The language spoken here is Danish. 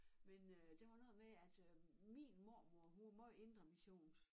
Men øh det var noget med at øh min mormor hun var måj indremissionsk